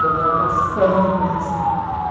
um almoção mesmo.